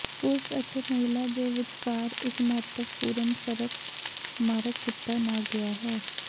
ਪੁਰਸ਼ ਅਤੇ ਮਹਿਲਾ ਦੇ ਵਿਚਕਾਰ ਇੱਕ ਮਹੱਤਵਪੂਰਨ ਫਰਕ ਮਾਰਕ ਕੀਤਾ ਨਾ ਗਿਆ ਹੈ